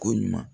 Ko ɲuman